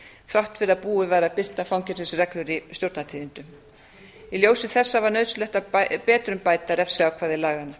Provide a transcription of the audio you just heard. þrátt fyrir að búið væri að birta fangelsisreglur í stjórnartíðindum í ljósi þessa var nauðsynlegt að betrumbæta refsiákvæði laganna